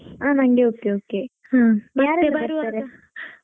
ಹಾ ನಂಗೆ okay okay ಯಾರೆಲ್ಲಾ ಬರ್ತಾರೆ?